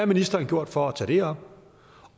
ministeren gjort for at tage det op